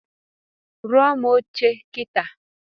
Rụọrụ m oche a kitaa